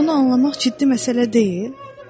Məgər bunu anlamaq ciddi məsələ deyil?